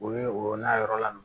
U ye o n'a yɔrɔ la